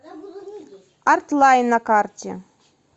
арт лайн на карте